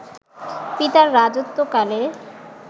পিতার রাজত্বকালে